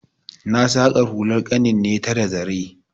Na saƙa hular ƙanin ne ta da zare.